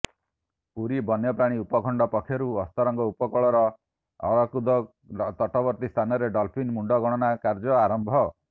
ପୁରୀ ବନ୍ୟପ୍ରାଣୀ ଉପଖଣ୍ଡ ପକ୍ଷରୁ ଅସ୍ତରଙ୍ଗ ଉପକୂଳର ଅରଖକୁଦ ତଟବର୍ତ୍ତୀ ସ୍ଥାନରେ ଡଲଫିନ୍ ମୁଣ୍ଡ ଗଣନା କାର୍ଯ୍ୟ ଆରମ୍ଭ